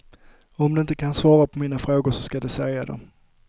Om de inte kan svara på mina frågor så ska de säga det.